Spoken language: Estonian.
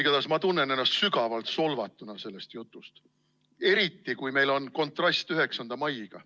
Igatahes ma tunnen ennast sügavalt solvatuna sellest jutust, eriti kui meil on kontrast 9. maiga.